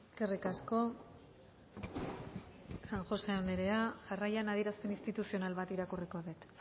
eskerrik asko san josé anderea jarraian adierazpen instituzional bat irakurriko det